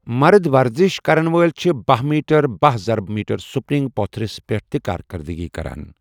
مَرٕد ورزش کرن وٲلۍ چھِ باہ میٹر باہ ظربہِ میٹر سپرنگ پوٚتُھرِس پٮ۪ٹھ تہِ کارکَردٕگی کران۔